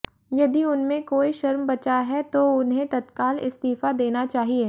यदि उनमें कोई शर्म बचा है तो उन्हें तत्काल इस्तीफा देना चाहिए